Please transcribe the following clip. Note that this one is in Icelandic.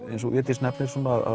eins og Védís nefnir